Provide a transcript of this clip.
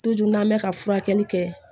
n'an bɛ ka furakɛli kɛ